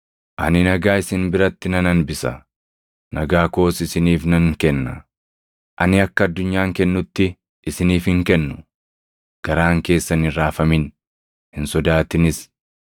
Ani nagaa isin biratti nan hambisa; nagaa koos isiniif nan kenna. Ani akka addunyaan kennutti isiniif hin kennu. Garaan keessan hin raafamin; hin sodaatinis.